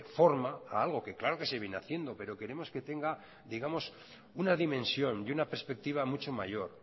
forma a algo que claro que se viene haciendo pero queremos que tenga digamos una dimensión y una perspectiva mucho mayor